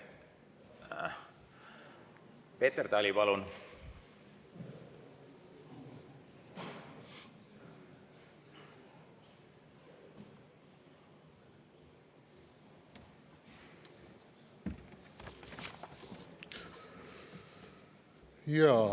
Siiski, Peeter Tali, palun!